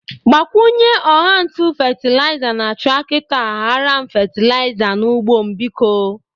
Gbakwunye ọgha ntụ fetelịza na trakitọ a ghara m fetelịza n'ụgbọ m, biko.